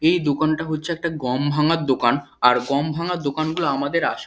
এই দোকানটা হচ্ছে একটা গম ভাঙার দোকান আর গম ভাঙার দোকান গুলো আমাদের আসে।